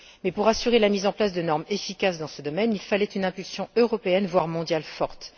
Mais pour assurer la mise en place de normes efficaces dans ce domaine, il fallait une impulsion européenne, voire mondiale, forte.